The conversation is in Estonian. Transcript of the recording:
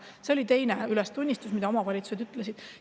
See oli teine ülestunnistus, mida omavalitsused tegid.